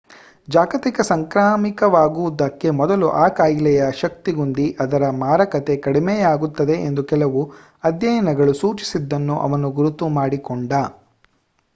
ಜಾಗತಿಕ ಸಾಂಕ್ರಾಮಿಕವಾಗುವುದಕ್ಕೆ ಮೊದಲು ಆ ಕಾಯಿಲೆಯ ಶಕ್ತಿಗುಂದಿ ಅದರ ಮಾರಕತೆ ಕಡಿಮೆಯಾಗುತ್ತದೆ ಎಂದು ಕೆಲವು ಅಧ್ಯಯನಗಳು ಸೂಚಿಸಿದ್ದನ್ನು ಅವನು ಗುರುತು ಮಾಡಿಕೊಂಡ